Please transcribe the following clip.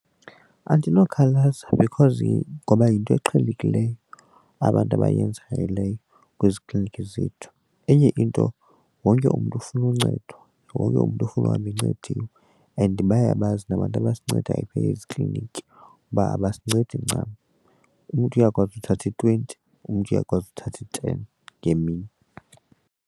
Andinokhalaza because ngoba yinto eqhelekileyo abantu abayenzayo leyo kwezi klinikhi zethu. Enye into wonke umntu ufuna uncedwa, wonke umntu ufuna uhamba encediwe and bayabazi nabantu angasincedayo phaya ezikliniki uba abasincedi ncam umntu uyakwazi uthatha i-twenty umntu uyakwazi uthatha i-ten ngemini.